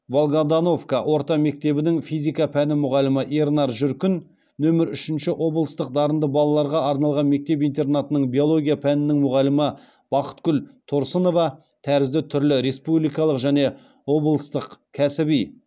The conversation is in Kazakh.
волгодоновка орта мектебінің физика пәні мұғалімі ернар жүркін нөмір үшінші облыстық дарынды балаларға арналған мектеп интернатының биология пәнінің мұғалімі бақытгүл торсынова тәрізді түрлі республикалық және облыстық кәсіби